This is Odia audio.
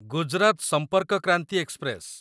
ଗୁଜରାତ ସମ୍ପର୍କ କ୍ରାନ୍ତି ଏକ୍ସପ୍ରେସ